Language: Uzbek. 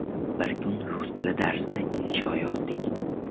Bir kuni rus tili darsida insho yozdik.